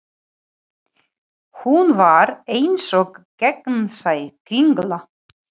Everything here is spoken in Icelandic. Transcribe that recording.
Hún var eins og gegnsæ kringla.